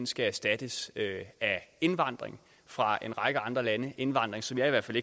skal erstattes af indvandring fra en række andre lande det indvandring som i hvert fald